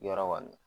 Yɔrɔ kɔni